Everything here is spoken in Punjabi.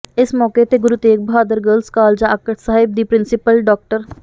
ਇਸ ਮੌਕੇ ਤੇ ਗੁਰੂ ਤੇਗ ਬਹਾਦਰ ਗਰਲਜ਼ ਕਾਲਜ ਆਕੜ ਸਾਹਿਬ ਦੀ ਪ੍ਰਿੰਸੀਪਲ ਡਾ